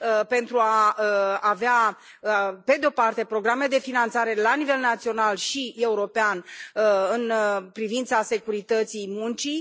pentru a avea pe de o parte programe de finanțare la nivel național și european în privința securității muncii.